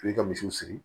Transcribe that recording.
I b'i ka misiw siri